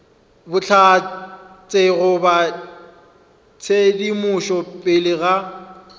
bohlatse goba tshedimošo pele ga